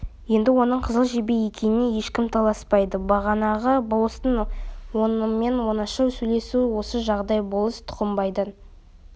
енді оның қызыл жебе екеніне ешкім таласпайды бағанағы болыстың онымен оңаша сөйлесуі осы жағдай болыс тұқымбайдан